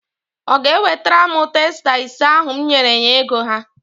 Ọ ga-ewetara m testa ise ahụ m nyere ya ego ha?